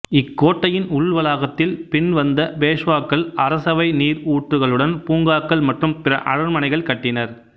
இக்கோட்டையின் உள்வளாகத்தில் பின் வந்த பேஷ்வாக்கள் அரசவை நீர் ஊற்றுகளுடைன் பூங்காக்கள் மற்றும் பிற அரண்மனைகள் கட்டினர்